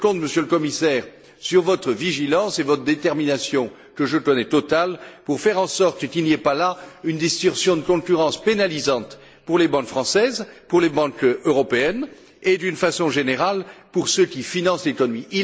Je compte, Monsieur le Commissaire, sur votre vigilance et votre détermination, que je connais totales, pour faire en sorte qu'il n'y ait pas là une distorsion de concurrence pénalisante pour les banques françaises, pour les banques européennes et, d'une façon générale, pour ceux qui financent l'économie.